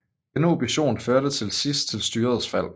Denne opposition førte til sidst til styrets fald